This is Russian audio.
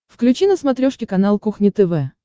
включи на смотрешке канал кухня тв